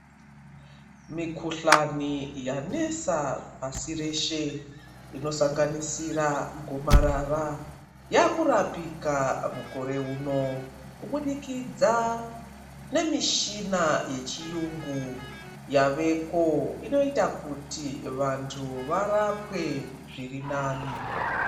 Mikuhlani yanesa pashi reshe inosanganisira gomarara yakurapika mukore uno. Kubudikidza nemishina yechiyungu yaveko inoita kuti vantu varapwe zviri nani.